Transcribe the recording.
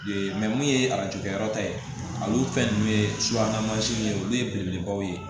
mun ye arajo kɛyɔrɔ ta ye olu fɛn ninnu ye subahana mansinw ye olu ye belebelebaw ye